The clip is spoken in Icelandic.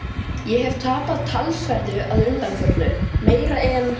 Ég hef tapað talsverðu að undanförnu- meira en